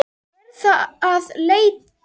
Verðum að leita.